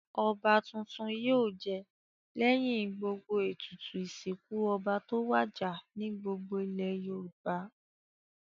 Ọba tuntun yóò jẹ lẹ́yìn gbogbo ètùtù ìsìkún ọba tó wàjà ní gbogbo ilẹ̀ Yorùbá.